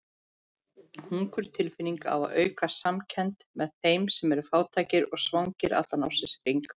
Hungurtilfinningin á að auka samkennd með þeim sem eru fátækir og svangir allan ársins hring.